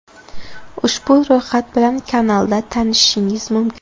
Ushbu ro‘yxat bilan kanalda tanishishingiz mumkin.